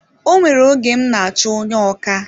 O nwere oge m n'achọ onye ọkà